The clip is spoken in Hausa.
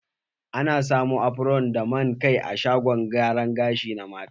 A na samun afron da man kai a shagon gyara gashi na mata.